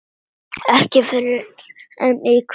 Ekki fyrr en í kvöld.